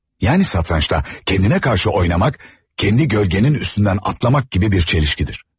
Yani satrançta kendine karşı oynamak kendi gölgənin üstünden atlamak gibi bir çelişkidir.